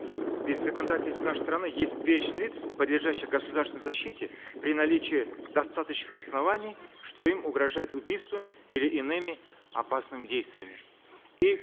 ведь в законодательстве нашей страны есть перечень лиц подлежащих государственной защите при наличии достаточных оснований что им угрожают убийством или иными опасными действиями и